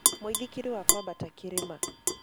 Mũĩthĩkĩrĩ wa kwabata kĩrĩma.